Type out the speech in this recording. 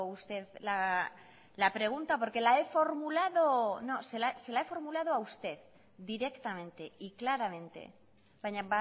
usted la pregunta porque la he formulado no se la he formulado a usted directamente y claramente baina